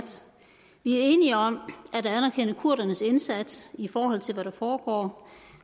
enige om at anerkende kurdernes indsats i forhold til hvad der foregår